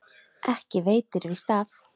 Ekki veitir víst af.